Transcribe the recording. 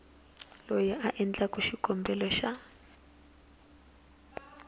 loyi a endlaku xikombelo xa